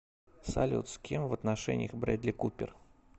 салют с кем в отношениях брэдли купер